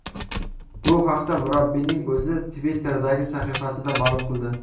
Bu haqda murabbiyning o‘zi Twitter’dagi sahifasida ma’lum qildi .